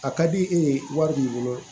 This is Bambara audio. A ka di e ye wari b'i bolo